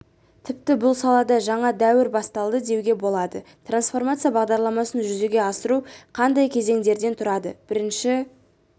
тіпті бұл салада жаңа дәуір басталды деуге болады трансформация бағдарламасын жүзеге асыру қандай кезеңдерден тұрады бірінші